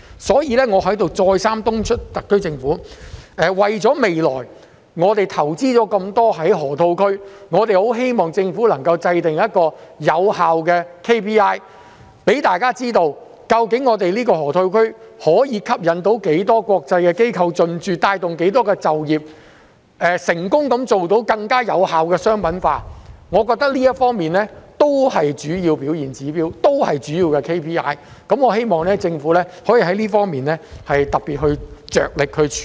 所以，我再三敦促特區政府，為了我們未來在河套區投放的很多資源，我們十分希望政府能制訂有效的 KPI， 讓大家知道究竟這個河套區可以吸引多少間國際機構進駐、可以帶動多少就業機會，是否成功地做到更有效的商品化，我認為這方面也是主要的表現指標，也是主要的 KPI， 我希望政府可以在這方面特別着力處理。